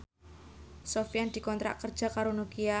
Sofyan dikontrak kerja karo Nokia